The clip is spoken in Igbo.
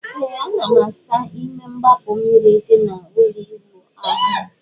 Ee ana m asa ime igbapu mmiri di na ụlọ ịwụ ahu m